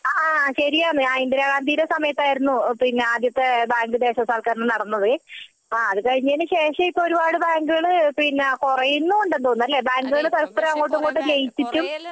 ആഹ് ശരിയാണ് ഇന്ദിരാഗാന്ധിന്റെ സമയത്തായിരുന്നു ആദ്യത്തെ ബാങ്ക് ദേശസാൽക്കരണം നടന്നത് അത് കഴിഞ്ഞതിനു ശേഷം ഇപ്പം ഒരുപാട് ബാങ്കുകൾ കുറയുന്നുമുണ്ടെന്നു തോന്നുന്നു അല്ലെ ബാങ്കുകൾ പരസ്പരം അങ്ങോട്ടും ഇങ്ങോട്ടും ലയിച്ചിട്ടും